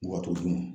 Wa to duman